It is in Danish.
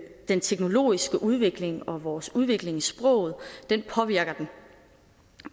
den teknologiske udvikling og vores udvikling i sproget påvirker den